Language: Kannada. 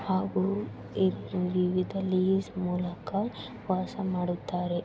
ಹಾಗು ಇದ್ ವಿವಿಧ ಲೀಸ್ ಮೂಲಕ ವಾಸ ಮಾಡುತ್ತಾರೆ.